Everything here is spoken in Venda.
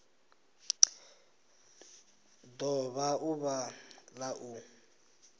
do vha ḓuvha la u